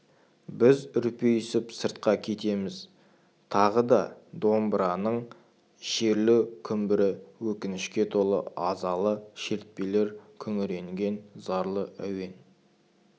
біз үрпиісіп сыртқа кетеміз тағы да домбыраның шерлі күмбірі өкінішке толы азалы шертпелер күңіренген зарлы әуен